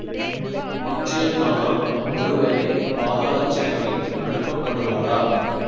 நிச்சயந்தானா ஒருவேளை பாதாள சிறைக்கு அனுப்பப்படுவாரா